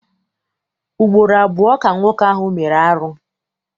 Ugboro abụọ ka nwoke ahụ mere arụ.